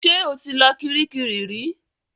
Ṣe ó ti lọ Kiríkirì rí?